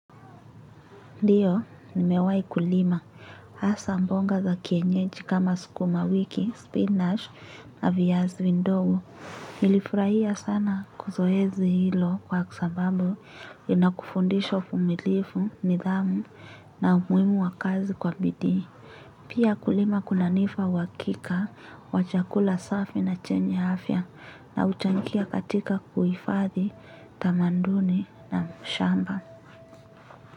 Ndiyo, nimewahi kulima. Asa mbonga za kienyeji kama sukuma wiki, spinach na viyazi vindogo. Nilifurahia sana kuzoezi hilo kwa kwa sabambu inakufundisha ufumilifu, nidhamu na umuhimu wa kazi kwa bidii. Pia kulima kunanipa uwakika, wa chakula safi na chenye afya na uchangia katika kuifadhi, tamanduni na mshamba.